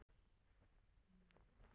Saga Veðurstofu Íslands.